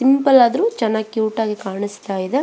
Simple ಆದ್ರೂ ಚೆನ್ನಾಗಿ cute ಆಗಿ ಕಾಣಿಸ್ತಾ ಇದೆ.